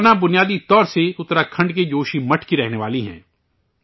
کلپنا، بنیادی طور پر اتراکھنڈ کے جوشی مٹھ کی رہنے والی ہیں